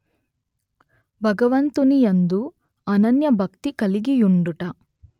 భగవంతుని యందు అనన్యభక్తి గలిగియుండుట